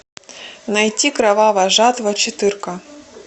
найти кровавая жатва четырка